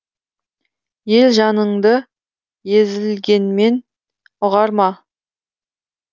ел жаныңды езілгенмен ұғар ма